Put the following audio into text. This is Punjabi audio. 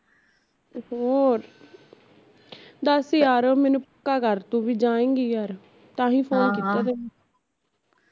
ਹੋਰ ਦਸ ਯਾਰ ਮੇਨੂ ਪੱਕਾ ਕਰ ਤੂੰ ਵੀ ਜਾਏਗੀ ਯਾਰ, ਤਾਂਹੀਂ phone ਕੀਤਾ ਤੈਨੂੰ